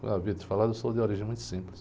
Já havia te falado, eu sou de origem muito simples.